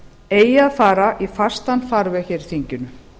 eigi að fara í fastan farveg í þinginu